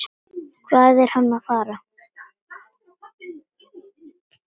Hvað er hann að fara?